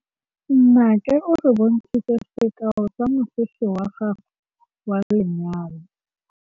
Nnake o re bontshitse sekaô sa mosese wa gagwe wa lenyalo.